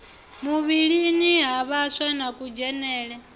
muvhilini ha vhaswa na kudzhenele